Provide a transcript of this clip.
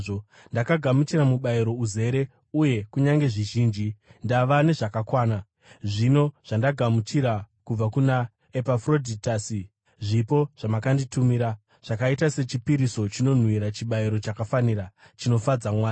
Ndakagamuchira mubayiro uzere uye kunyange zvizhinji; ndava nezvakakwana, zvino zvandagamuchira kubva kuna Epafrodhitasi zvipo zvamakanditumira. Zvakaita sechipiriso chinonhuhwira, chibayiro chakafanira, chinofadza Mwari.